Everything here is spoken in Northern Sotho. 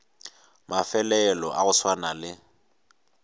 mafelo a go swana le